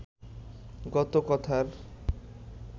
গত কথার